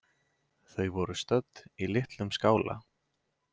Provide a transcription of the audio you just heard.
Þau voru stödd í litlum skála.